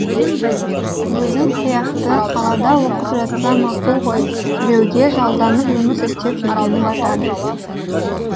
өзің сияқты қалада оқып жатса мақұл ғой біреуге жалданып жұмыс істеп жүргені батады